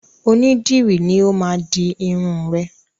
Onídìrí ni ó máa di irun rẹ̀.